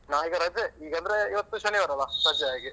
ನಾ ಈಗ ರಜೆ, ಈಗಂದ್ರೆ ಇವತ್ತು ಶನಿವಾರ ಅಲಾ ರಜೆ ಹಾಗೆ.